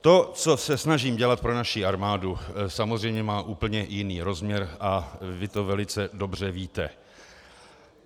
To, co se snažím dělat pro naši armádu, samozřejmě má úplně jiný rozměr a vy to velice dobře víte.